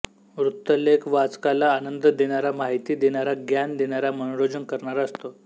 वृत्तलेख वाचकाला आनंद देणारा माहिती देणारा ज्ञान देणारा मनोरंजन करणारा असतो